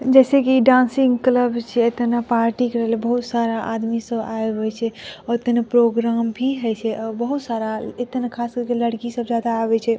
जैसे की dancing club छे। एते में पार्टी करेले बहुत सारा आदमी सब आवे हुए छे और तने प्रोग्राम भी होइ छे और बहुत सारा एते ना खास कर के लड़की सब ज्यादा आवे छै।